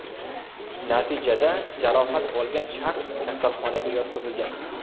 Natijada jarohat olgan shaxs kasalxonaga yotqizilgan.